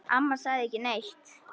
Amma sagði ekki neitt.